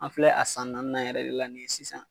An filɛ a san naaninan yɛrɛ de la sisan